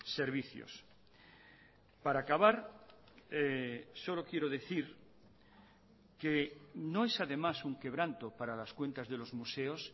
servicios para acabar solo quiero decir que no es además un quebranto para las cuentas de los museos